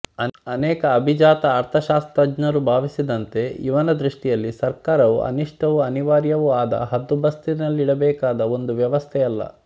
ಅನೇಕ ಅಭಿಜಾತ ಅರ್ಥಶಾಸ್ತ್ರಜ್ಞರು ಭಾವಿಸಿದ್ದಂತೆ ಇವನ ದೃಷ್ಟಿಯಲ್ಲಿ ಸರ್ಕಾರ ಅನಿಷ್ಟವೂ ಅನಿವಾರ್ಯವೂ ಆದ ಹದ್ದುಬಸ್ತಿನಲ್ಲಿಡಬೇಕಾದ ಒಂದು ವ್ಯವಸ್ಥೆಯಲ್ಲ